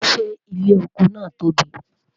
ṣé ilé ọkọ nà tóbi?